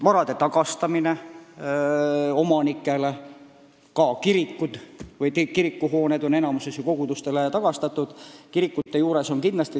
Vara tagastati omanikele, ka kirikuhooned on enamikus ju kogudustele tagastatud.